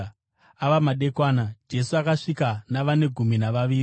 Ava madekwana, Jesu akasvika navane gumi navaviri.